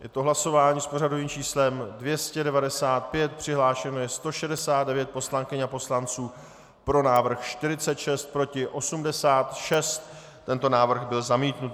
Je to hlasování s pořadovým číslem 295, přihlášeno je 169 poslankyň a poslanců, pro návrh 46, proti 86, tento návrh byl zamítnut.